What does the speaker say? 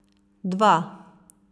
Dva!